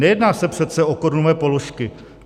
Nejedná se přece o korunové položky.